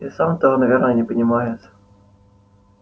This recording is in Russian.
и сам того наверное не понимает